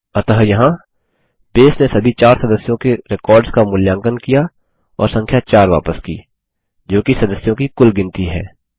अतः यहाँ बेस ने सभी 4 सदस्यों के रेकॉर्ड्स का मूल्यांकन किया और संख्या 4 वापस की जोकि सदस्यों की कुल गिनती है